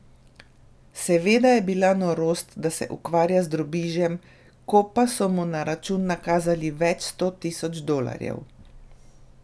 Seveda je bila norost, da se ukvarja z drobižem, ko pa so mu na račun nakazali več sto tisoč dolarjev.